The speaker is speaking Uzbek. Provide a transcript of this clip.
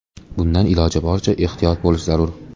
Bundan iloji boricha ehtiyot bo‘lish zarur.